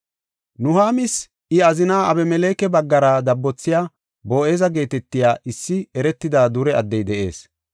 Nuhaamis I azina Abemeleke baggara dabbothiya, Boo7eza geetetiya issi eretida dure addey de7ees.